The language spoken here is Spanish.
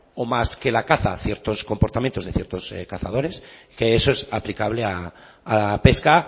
o más que la caza ciertos comportamientos de ciertos cazadores que eso es aplicable a la pesca